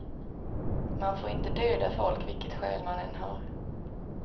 Man får inte döda folk, vilket skäl man än har.